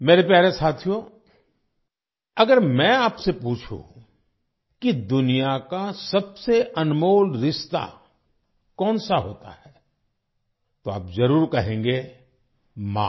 मेरे प्यारे साथियो अगर मैं आपसे पूछूँ कि दुनिया का सबसे अनमोल रिश्ता कौन सा होता है तो आप जरूर कहेंगे - "माँ"